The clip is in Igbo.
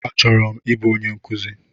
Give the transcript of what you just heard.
Achọrọ m ịbụ onye nkụzi